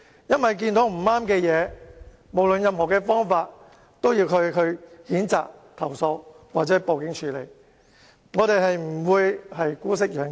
因為當我們發現有人犯錯，無論使用任何方法，也要譴責、投訴或報警處理，不會姑息養奸。